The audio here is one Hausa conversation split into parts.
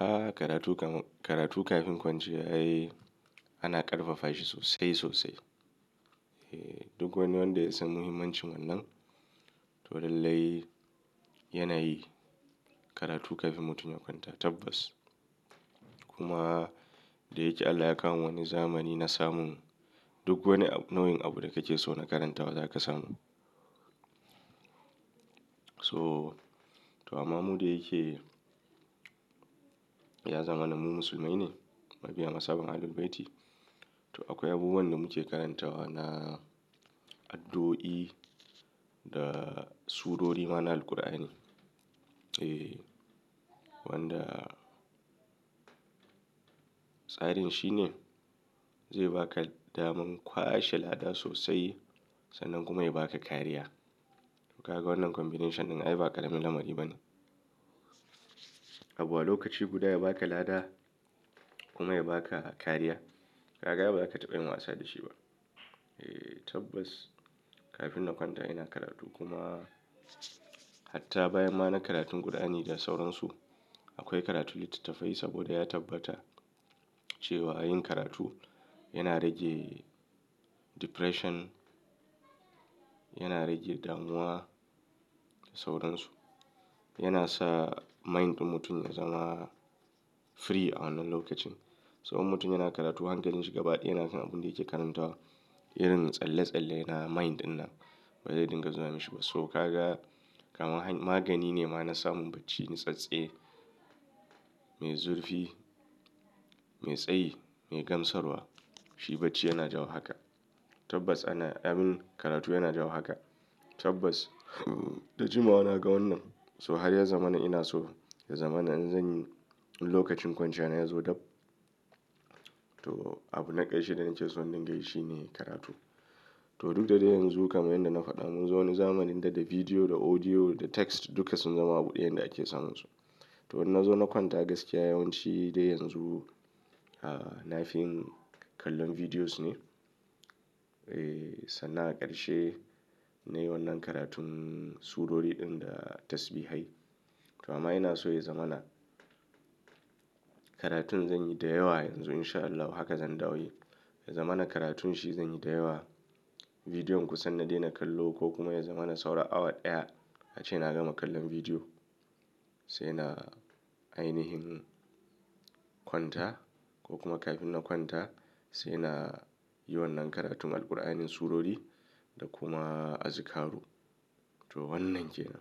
Aaa, karatu kafin kwanciya yayi ana ƙarfafa shi sosai sosai. Duk wani wanda ya san muhimmancin wannan to lallai yana yi karatu kafin mutum ya kwanta. Tabbas kuma da yake Allah ya kawo wani zamani na samun duk wani nau'in abu da kake so na karantawa za ka samu. So to amma mu da yake ya zama nan mu musulmai ne, mabiya mazhaban Ahlul baiti. To akwai abubuwan da muke karantawa na addu'o'i da surori ma na Alqur'ani. Eh wanda tsarin shine zai ba ka daman kwashe lada sosai sannan kuma ya ba ka kariya. Kaga wannan combination ɗin ai ba ƙaramin lamari bane. Abu a lokaci guda ya ba ka lada kuma ya ba ka kariya. Kaga ba za ka taɓa yin wasa da shi ba. Eh tabbas kafin na kwanta ina karatu kuma hatta bayan ma na karatun Alqur'ani da sauransu. Akwai karatu littattafai saboda ya tabbata cewa yin karatu yana rage depression, yana rage damuwa da sauransu. Yana sa mind ɗin mutum ya zama free a wannan lokacin. So in mutum yana karatu hankalinshi gabaɗaya yana kan abun da yake karantawa. Irin tsalle-tsalle na mind ɗinna ba zai dinga zuwa mashi ba. So kaga kaman magani ne ma na samun bacci natsatse, mai zurfi, mai tsayi, mai gamsarwa. Shi bacci yana jawo haka. Tabbas ana yin karatu yana jawo haka. Tabbas da jimawa na ga wannan. So har ya zamana ina so ya zamana in zanyi in lokacin kwanciya na yazo dab. To abu na ƙarshe da nake so in dinga yi shi ne karatu. To duk da yanzu kamar yadda na faɗa muku zo wani zamanin da da video, da audio, da text duka sun zama abu ɗaya da ake samunsu. To na zo na kwanta gaskiya yawanci dai yanzu a na fi kallon videos ne. Eh sannan a ƙarshe na yi wannan karatun surori ɗin da tasbihai. To amma ina so ya zamana karatun zanyi da yawa yanzu in sha Allahu haka zan dawo yi. Ya zamana karatun shi zanyi da yawa. Videon kusan na daina kallo ko kuma ya zamana saura awa ɗaya ace na gama kallon video. Sai na ainihin kwanta ko kuma kafin na kwanta sai na yi wannan karatun Alqur'anin surori da kuma azukaru. To wannan ke nan.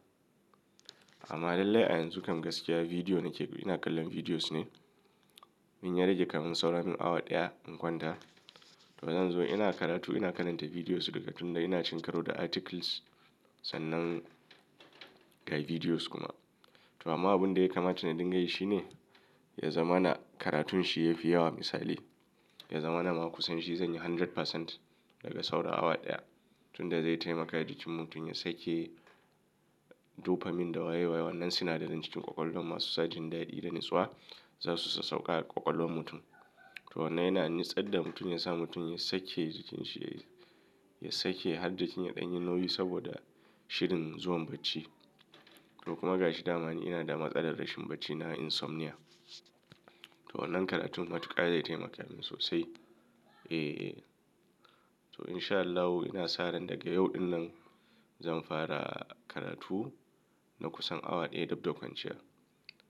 Amma lallai a yanzu kam gaskiya video nake ina kallon videos ne. In ya rage kamun saura min awa ɗaya in kwanta. To zan zo ina karatu ina karanta videos daga tun da ina shinkaro da articles sannan ga videos kuma. To amma abun da ya kamata na dinga yi shi ne ya zamana karatun shi yafi yawa misali. Ya zamana ma kusan shi zanyi handred pacent daga saura awa ɗaya. Tun da zai taimaka jikin mutum ya sake dopamine da waye waye wannan sinadaran jikin ƙwaƙwalwan masu sa jin daɗi da natsuwa. Zasu sa sassauka a ƙwaƙwalwan mutum. To wannan yana natsar da mutum ya sa mutum ya sake jikinshi, ya sake har jikin yaɗan yi nauyi saboda shirin zuwan bacci. To kuma ga shi damani ina da matsalar rashin bacci na insomnia. To wannan karatun matuƙa zai taimaka min sosai. Eh, eh to in sha Allahu ina sa ran daga yau ɗin nan zan fara karatu na kusan awa ɗaya dab da kwanciya.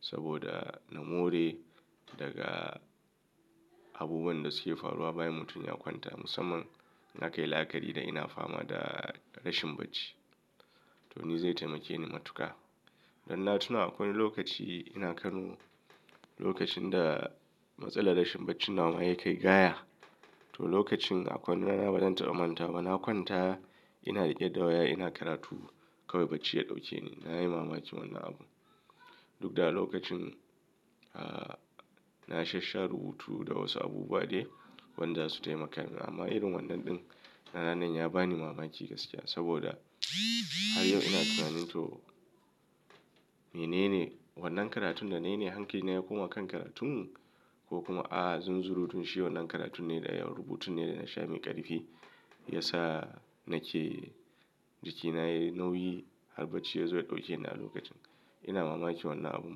Saboda na more daga abubuwan da suke faruwa bayan mutum ya kwanta musamman na kan yi la'akari da ina fama da rashin bacci. To ni zai taimake ni matuƙa. Dan na tuna akwai lokaci ina Kano, lokacin da matsalar rashin bacci na ma ya kai gaya. To lokacin akwai wani rana bana taɓa manta ba. Na kwanta ina riƙe da waya ina karatu kawai bacci ya ɗauke ni. Na yi mamaki wannan abu. Duk da a lokacin a na sha-sha rubutu da wasu abubuwa dai wanda su taimaka min. Amma irin wannan ɗin na ranan ya ba ni mamaki gaskiya. Saboda har yau ina tunanin to menene wannan karatun da na yi ne hankili na ya koma kan karatun ko kuma a zunzurutun shi wannan karatun ne da yawar rubutun ne da na sha mai ƙarfi. Ya sa nake jikina yayi nauyi har bacci ya zo ya ɗauke ni a lokacin. Ina mamaki wannan abu.